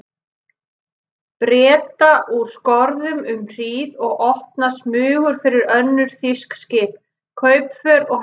Breta úr skorðum um hríð og opnað smugur fyrir önnur þýsk skip, kaupför og herskip.